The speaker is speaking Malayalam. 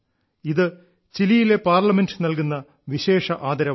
ഇത് ചിലിയിലെ പാർലമെന്റ് നൽകുന്ന വിശേഷ ആദരവാണ്